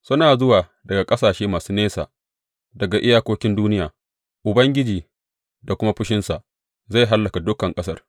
Suna zuwa daga ƙasashe masu nesa, daga iyakokin duniya, Ubangiji da kuma fushinsa, zai hallaka dukan ƙasar.